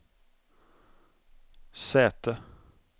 säte